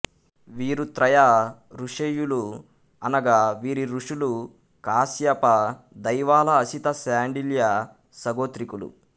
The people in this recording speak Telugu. వీరు త్రయా ఋషేయులు అనగా వీరి ఋషులు కాశ్యప దైవల అసిత శాండిల్య సగోత్రీకులు